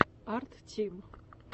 арттим